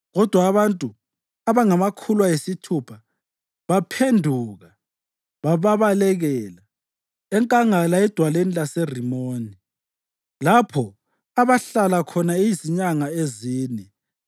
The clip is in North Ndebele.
Kodwa abantu abangamakhulu ayisithupha baphenduka babalekela enkangala edwaleni laseRimoni, lapho abahlala khona izinyanga ezine.